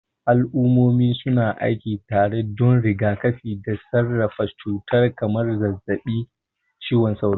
Al'ummomi su na aiki tare don rigakafi da sarrafa cututtuka kamar zazzabin cizon sauro.